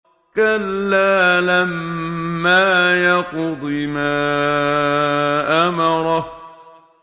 كَلَّا لَمَّا يَقْضِ مَا أَمَرَهُ